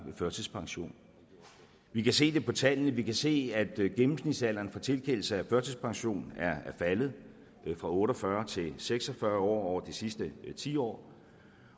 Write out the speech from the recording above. førtidspension vi kan se det på tallene vi kan se at gennemsnitsalderen for tilkendelse af førtidspension er faldet fra otte og fyrre til seks og fyrre år over det sidste tiår